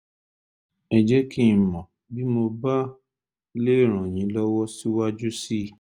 ẹ jẹ́ kí n mọ̀ bí mo bá lè ràn yín lọ́wọ́ síwájú sí i